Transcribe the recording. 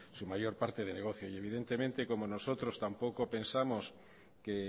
su mayor parte de negocio evidentemente como nosotros tampoco pensamos que